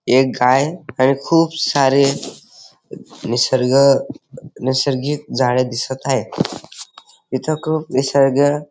एक गाय आणि खूप सारे निसर्ग नैसर्गिक झाडे दिसत आहे इथे खूप निसर्ग --